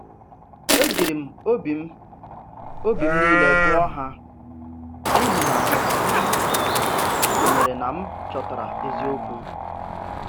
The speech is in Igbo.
E jiri m obi obi m niile gụọ ha, n’ihi na m kwenyere na m chọtara eziokwu.